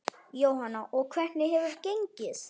Jóhanna: Og hvernig hefur gengið?